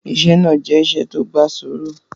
Ìṣẹ̀ onà jẹ̀ ìṣẹ̀ tó gbà súùrù